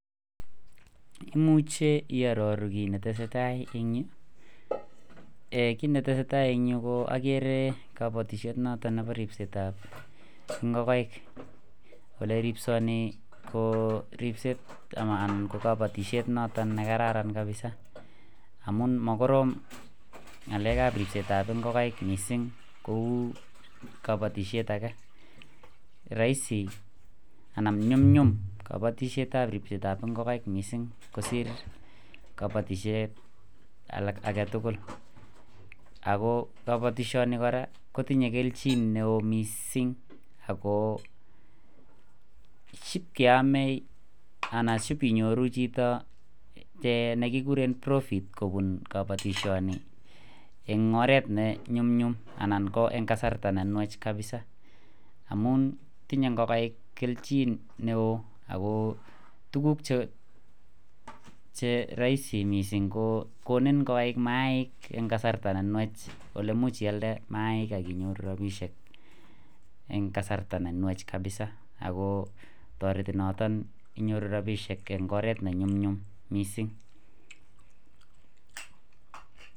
Imuche iyaroru kit netesetai en Yu kit netesetai en Yu agere kabatishet noton Nebo ribset ab ingokaik Kole ribsoni ko ribset Nebo kabatishet noton nekararan kabisa amun makorom ngalek ab ribset ab ingokaik mising Kou kabatishet age rahisi anan nyumnyum kabatishet ab ribset ab ingokiet ak ingokaik mising kosir kabatishet alak agetugul ako kabatishoni koraa kotinye kelchin neon mising ako kiame anan sibinyoru Chito nekikuren profit kobun kabatishoni en oret nenyumnyum ko en kasarta nenwach kabisa amun tinye ingokaik kelchin neon ako tuguk Che rahisi mising ko konik koik mayaik en kasarta nenwach oleimuch iyalde mayainik akinyoru rabishek en kasarta nenwach kabisa akotareti noton inyoru rabishek en oret nenyumnyum mising